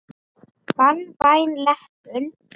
Banvæn leppun.